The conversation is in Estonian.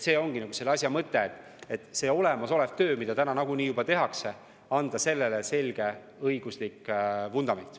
See ongi asja mõte: olemasolevale tööle, mida täna nagunii juba tehakse, tuleb anda selge õiguslik vundament.